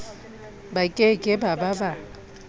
ba ke ke ba ba